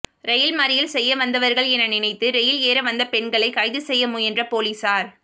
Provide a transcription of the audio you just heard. rail மறியல் செய்ய வந்தவர்கள் என நினைத்து ரெயில் ஏறவந்த பெண்களை கைது செய்த முயன்ற போலீசார்